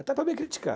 Até para me criticar.